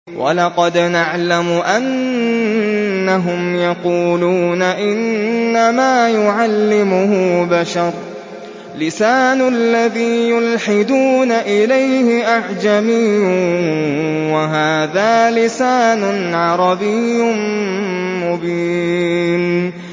وَلَقَدْ نَعْلَمُ أَنَّهُمْ يَقُولُونَ إِنَّمَا يُعَلِّمُهُ بَشَرٌ ۗ لِّسَانُ الَّذِي يُلْحِدُونَ إِلَيْهِ أَعْجَمِيٌّ وَهَٰذَا لِسَانٌ عَرَبِيٌّ مُّبِينٌ